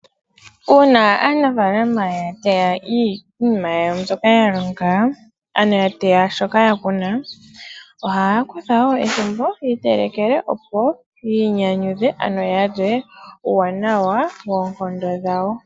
Uuna aanafalama ya teya iinima yawo mbyoka ya longa, ano ya teya shoka ya kuna. Ohaya kutha ethimbo opo yiitelekele, yiinyanyudhe ano yalye uuwanawa woonkondo dhawo.